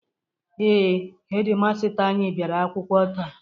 Ee, hedi masta anyị bịara akwụkwọ taa.